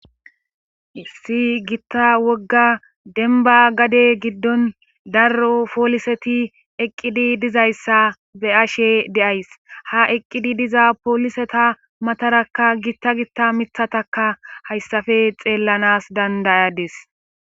Issi gitta wogga denba gade giddon daro pooliseti eqqidi dizayssa be ashe deays ha eqqidi diza pooliseta matarakka gitta gitta mithataka hayssafe xeellanas dandayadis